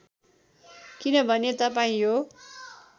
किनभने तपाईँ यो